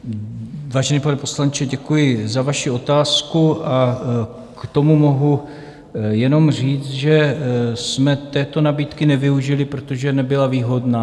Vážený pane poslanče, děkuji za vaši otázku, a k tomu mohu jenom říct, že jsme této nabídky nevyužili, protože nebyla výhodná.